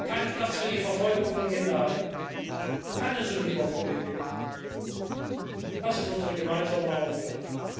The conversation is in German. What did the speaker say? Kein Platz für die Verfolgung von Minderheiten! Keine Sündenbock Politik! Das ist unsere gemeinsame Aufgabe.